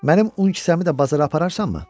Mənim un kisəmi də bazara apararsanmı?